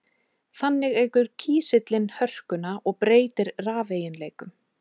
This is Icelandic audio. Þannig eykur kísillinn hörkuna og breytir rafeiginleikum.